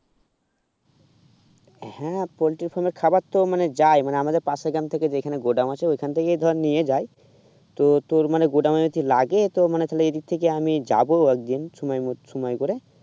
হুম poultry farmer খাবার তো যাই মানে আমাদের পাশের গ্রাম থেকে যেখানে গোডাউন আছে ওইখান থেকেই ধর নিয়ে যায় তো তোর মানে গোডাউন কি লাগে তোর মানে তাহলে এই দিক থেকে আমি যাব একদিন সময়মতো সময় করে